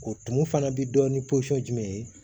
O tumu fana bɛ dɔn ni jumɛn ye